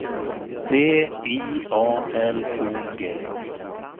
D I A L O G